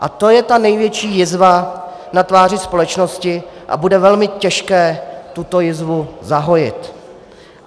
A to je ta největší jizva na tváři společnosti a bude velmi těžké tuto jizvu zahojit.